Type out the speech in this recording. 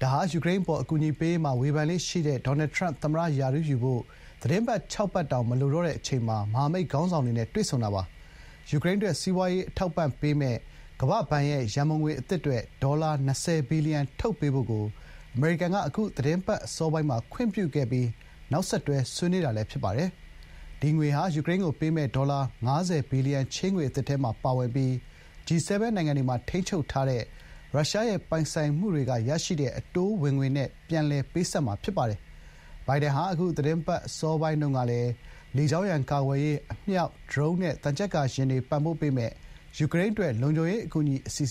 ဒါဟာ ယူကရိန်း အပေါ် အကူအညီပေးရေးမှာ ဝေဖန်လေ့ရှိသူ ဒေါ်နယ်ထရန့် သမ္မတ ရာထူးယူဖို့ သီတင်းပတ် ၆ ပတ် တောင် မလိုတော့တဲ့ အချိန်မှာ မဟာမိတ် ခေါင်းဆောင်တွေနဲ့ တွေ့ဆုံတာ ဖြစ်ပါတယ်။ ယူကရိန်းအတွက် စီးပွားရေးအထောက်အပံ့ပေးမယ့် ကမ္ဘာ့ဘဏ်ရဲ့ ရန်ပုံငွေ အသစ်အတွက် ဒေါ်လာ ၂၀ ဘီလီယံ ထုတ်ပေးဖို့ကို အမေရိကန်က အခု သီတင်းပတ်အစောပိုင်းမှာ ခွင့်ပြုခဲ့အပြီး နောက်ဆက်တွဲ ဆွေးနွေးတာလည်း ဖြစ်ပါတယ်။ ဒီငွေဟာ ယူကရိန်းကို ပေးမယ့် ဒေါ်လာ ၅၀ ဘီလီယံ ချေးငွေအသစ်ထဲမှာ ပါဝင်ပြီး G7 နိုင်ငံတွေမှာ ထိန်းချုပ်ထားတဲ့ ရုရှားရဲ့ ပိုင်ဆိုင်မှုတွေက ရရှိတဲ့ အတိုးဝင်ငွေနဲ့ ပြန်လည်ပေးဆပ်မှာ ဖြစ်ပါတယ်။ ဘိုင်ဒန်ဟာ အခု သီတင်းပတ်အစောပိုင်းတုန်းကလည်း လေကြောင်းရန်ကာကွယ်ရေး၊ အမြောက်၊ ဒရုန်းနဲ့ သံချပ်ကာယာဉ်တွေ ပံ့ပိုးပေးမယ့် ယူကရိန်းအတွက် လုံခြုံရေးအကူအညီအစီအ